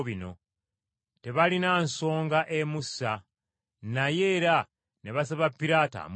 Tebaalina nsonga emussa, naye era ne basaba Piraato amutte.